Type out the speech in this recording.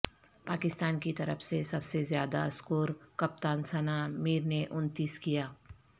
پاکستان کی طرف سے سب سے زیادہ سکور کپتان ثنا میر نےانتیس کیا